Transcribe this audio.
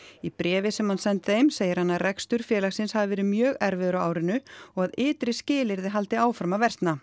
í bréfi sem hann sendi þeim segir hann að rekstur félagsins hafi verið mjög erfiður á árinu og að ytri skilyrði haldi áfram að versna